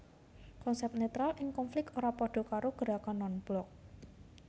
Konsep netral ing konflik ora padha karo gerakan non blok